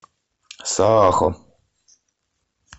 саахо